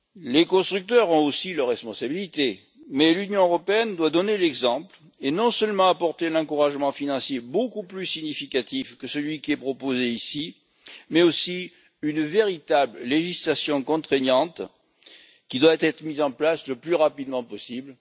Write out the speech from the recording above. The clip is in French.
Les constructeurs ont aussi leur responsabilité, mais l'Union européenne doit donner l'exemple et non seulement apporter un encouragement financier beaucoup plus significatif que celui qui est proposé ici, mais aussi une véritable législation contraignante, qui doit être mise en place le plus rapidement possible.